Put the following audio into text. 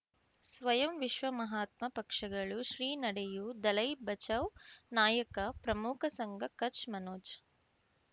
ಸ್ವಯಂ ವಿಶ್ವ ಮಹಾತ್ಮ ಪಕ್ಷಗಳು ಶ್ರೀ ನಡೆಯೂ ದಲೈ ಬಚೌ ನಾಯಕ ಪ್ರಮುಖ ಸಂಘ ಕಚ್ ಮನೋಜ್